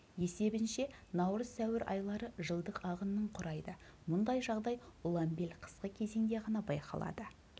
есебінше наурыз сәуір айлары жылдық ағынның құрайды мұндай жағдай ұланбел қысқы кезеңде ғана байқалады